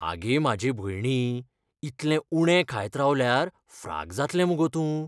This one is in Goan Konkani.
आगे म्हाजे भयणी, इतलें उणें खायत रावल्यार फ्राक जातलें मगो तूं.